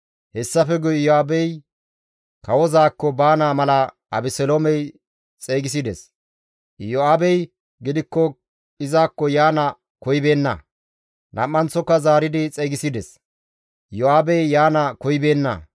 Hessafe guye Iyo7aabey kawozaakko baana mala Abeseloomey xeygisides; Iyo7aabey gidikko izakko yaana koyibeenna; nam7anththoka zaaridi xeygisides; Iyo7aabey yaana koyibeenna.